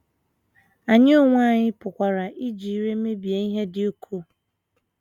Anyị onwe anyị pụkwara iji ire mebie ihe dị ukwuu.